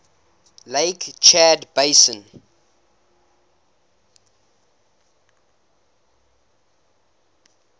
lake chad basin